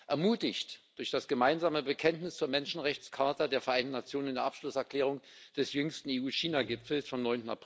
Ermutigt durch das gemeinsame Bekenntnis zur Menschenrechts Charta der Vereinten Nationen in der Abschlusserklärung des jüngsten EU China Gipfels vom